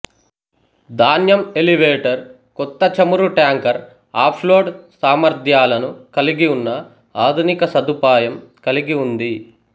ధాన్యం ఎలివేటర్ కొత్త చమురు ట్యాంకర్ ఆఫ్లోడ్ సామర్ధ్యాలను కలిగి ఉన్న ఆధునిక సదుపాయం కలిగి ఉంది